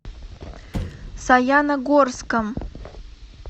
саяногорском